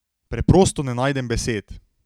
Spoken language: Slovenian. Preprosto ne najdem besed.